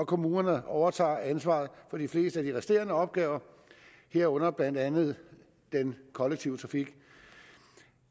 kommunerne overtager ansvaret for de fleste af de resterende opgaver herunder blandt andet den kollektive trafik